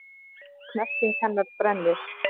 Og snerting hennar brennir.